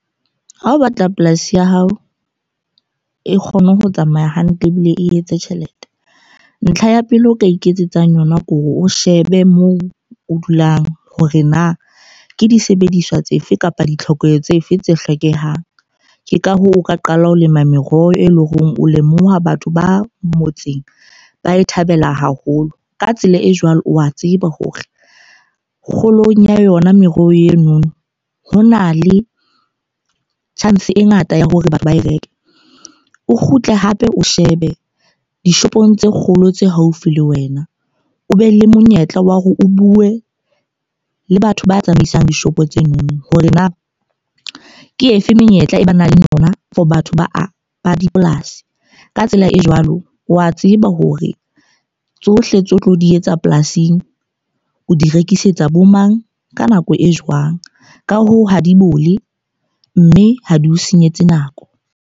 Ha o batla polasi ya hao e kgone ho tsamaya hantle ebile e etse tjhelete. Ntlha ya pele o ka iketsetsang yona ke hore o shebe moo o dulang hore na ke disebediswa tsefe kapa ditlhoko tse fe tse hlokehang. Ke ka hoo, o ka qala ho lema meroho e leng hore o lemoha batho ba motseng ba e thabela haholo. Ka tsela e jwalo, o a tseba hore kgolong ya yona meroho eno ho na le chance e ngata ya hore batho ba e reke. O kgutle hape o shebe dishopong tse kgolo tse haufi le wena. O be le monyetla wa hore o bue le batho ba tsamaisang dishopo tsenono ho re na ke efe menyetla e ba nang le yona for batho ba ba dipolasi. Ka tsela e jwalo, wa tseba hore tsohle tseo tlo di etsa polasing, o di rekisetsa bo mang ka nako e jwang. Ka hoo, ha di bole. Mme ha di o senyetse nako.